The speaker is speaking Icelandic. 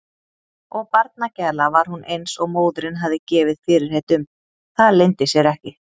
Og barnagæla var hún eins og móðirin hafði gefið fyrirheit um, það leyndi sér ekki.